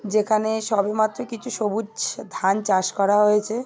যেখানে সবেমাত্র কিছু সবুচ ধান চাষ করা হয়েছে।